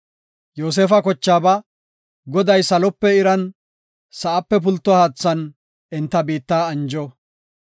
Yoosefa kochaaba, “Goday, salope iran, sa7ape pulto haathan enta biitta anjo.